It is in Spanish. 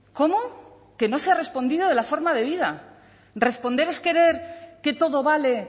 cómo que no se ha respondido de la forma debida responder es querer que todo vale